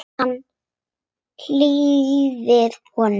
Hann hlýðir honum.